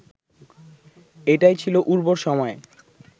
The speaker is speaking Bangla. এটাই ছিল উর্বর সময়